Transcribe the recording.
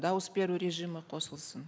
дауыс беру режимі қосылсын